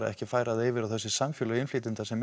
ekki að færa það yfir á þetta samfélag innflytjenda sem